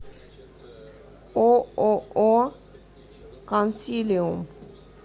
ооо консилиум